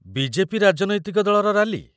BJP. ରାଜନୈତିକ ଦଳର rally